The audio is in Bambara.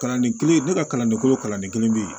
Kalanden kelen ne ka kalanden kolo kalanden kelen bɛ yen